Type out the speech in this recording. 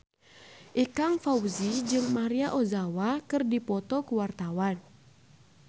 Ikang Fawzi jeung Maria Ozawa keur dipoto ku wartawan